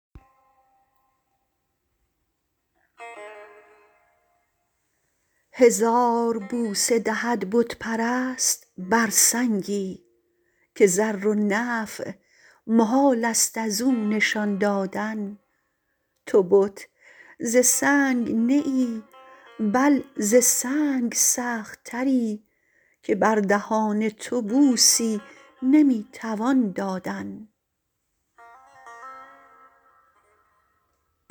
هزار بوسه دهد بت پرست بر سنگی که ضر و نفع محالست ازو نشان دادن تو بت ز سنگ نه ای بل ز سنگ سخت تری که بر دهان تو بوسی نمی توان دادن